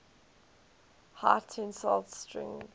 high tensile strength